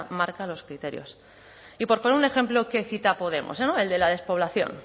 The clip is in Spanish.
marca los criterios y por poner un ejemplo que cita podemos no el de la despoblación